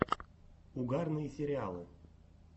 угарные сериалы